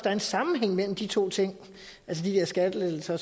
er en sammenhæng mellem de to ting altså de der skattelettelser